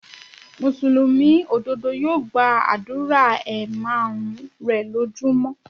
Mùsùlùmí òdodo yóò gbàdúrà ẹ márùn-ún rè lójú mọ́.